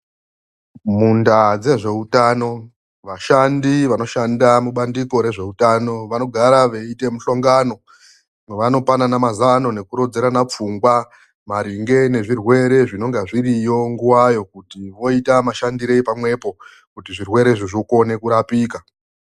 Mundaa dzezveutano, vashandi vanoshanda mubandiko rezveutano vanogara veiite mushongano wavanopanana mazano nekurodzerana pfungwa maringe nezvirwere zvinenge zviriyo nguvayo kuti voita mashandirei pamwepo kuti zvirwerezvo zvikone kurapika.